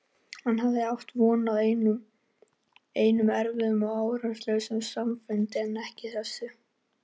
Hann hafði átt von á enn einum erfiðum og árangurslausum samningafundi en ekki þessu.